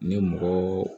Ni mɔgɔ